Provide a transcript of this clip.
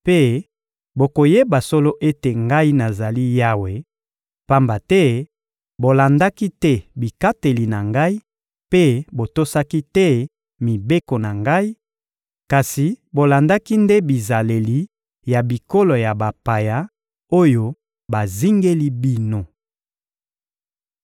Mpe bokoyeba solo ete Ngai nazali Yawe, pamba te bolandaki te bikateli na Ngai mpe botosaki te mibeko na Ngai, kasi bolandaki nde bizaleli ya bikolo ya bapaya oyo bazingeli bino.»